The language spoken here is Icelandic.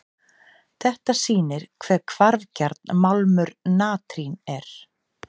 Þetta sýnir vel hve hvarfgjarn málmur natrín er.